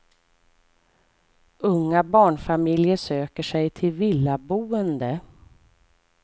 Unga barnfamiljer söker sig till villaboende.